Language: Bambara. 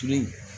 Tuun